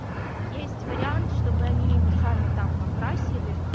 есть вариант чтобы они его сами там покрасили